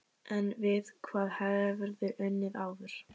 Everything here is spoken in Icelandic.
En við hvað hefurðu unnið áður?